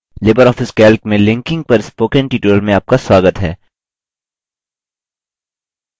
Libre office calc में linking पर spoken tutorial में आपका स्वागत है